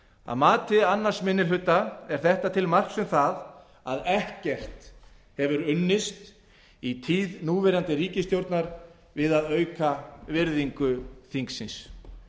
að mati annar minni hluta er þetta til marks um það að ekkert hafi unnist í tíð núverandi ríkisstjórnar við að auka virðingu þingsins